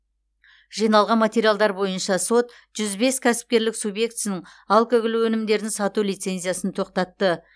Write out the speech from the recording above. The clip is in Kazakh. жиналған материалдар бойынша сот жүз бес кәсіпкерлік субъектісінің алкоголь өнімдерін сату лицензиясын тоқтатты